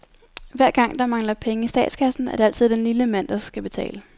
Hver gang, der mangler penge i statskassen, er det altid den lille mand, der skal betale.